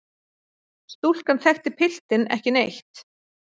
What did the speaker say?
Stúlkan þekkti piltinn ekki neitt.